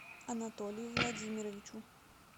анатолию владимировичу